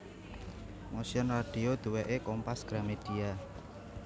Motion Radio duweke Kompas Gramedia